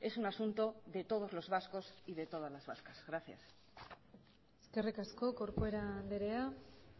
es un asunto de todos los vascos y de todas las vascas gracias eskerrik asko corcuera andrea